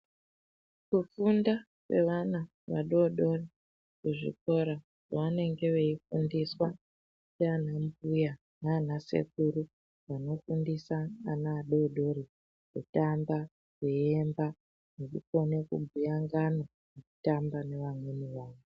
Kufunda kwevana vadodori kuzvikora kwavanenge veifundiswa ndiana mbuya nana sekuru vanofundisa ana adodori kutamba, kuemba nekukone kubhuya ngano vaitamba nevamweni ana.